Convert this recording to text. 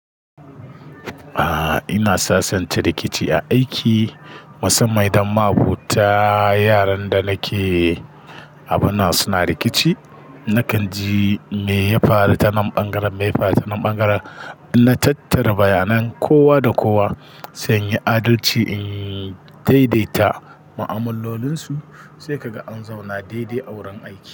A'a, ina sasanta rikici a aiki musamman idan ma'abota yaran da nake abun nan suna rikici. Nakan ji me ya faru ta nan ɓangaren, me ya faru ta nan ɓangaren. Na tattara bayanan kowa da kowa sanyi adalci in daidaita ma'amalolinsu sai kaga an zauna daidai a wurin aiki.